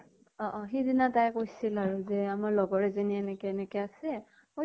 অ অ সিদিনা তাই কৈছিল আৰু যে আমাৰ লগৰ এজনীয়ে এনেকে এনেকে আছে। মইতো